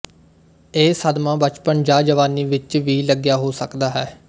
ਇਹ ਸਦਮਾ ਬਚਪਨ ਜਾਂ ਜਵਾਨੀ ਵਿੱਚ ਵੀ ਲੱਗਿਆ ਹੋ ਸਕਦਾ ਹੈ